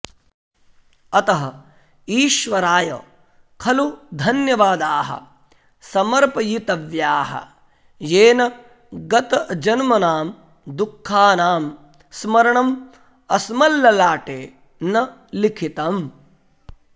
अतः ईश्वराय खलु धन्यवादाः समर्पयितव्याः येन गतजन्मनां दुःखानां स्मरणम् अस्मल्ललाटे न लिखितम्